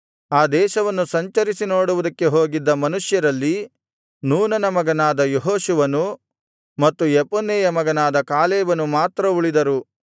ಆ ದೇಶವನ್ನು ಸಂಚರಿಸಿ ನೋಡುವುದಕ್ಕೆ ಹೋಗಿದ್ದ ಮನುಷ್ಯರಲ್ಲಿ ನೂನನ ಮಗನಾದ ಯೆಹೋಶುವನು ಮತ್ತು ಯೆಫುನ್ನೆಯ ಮಗನಾದ ಕಾಲೇಬನು ಮಾತ್ರ ಉಳಿದರು